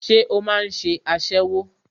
Ṣé o máà ń ṣe aṣẹ́wó?